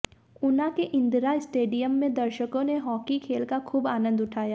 ऊना के इंदिरा स्टेडियम में दर्शकों ने हाकी खेल का खूब आनंद उठाया